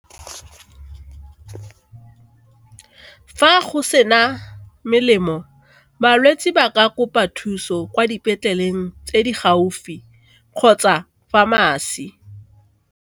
Fa go sena melemo balwetse ba ka kopa thuso kwa dipetleleng tse di gaufi kgotsa pharmacy.